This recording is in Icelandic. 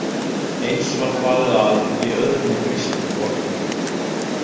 Eins var farið að í öðrum grískum borgum.